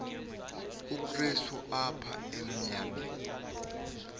obukrestu apha emnyakeni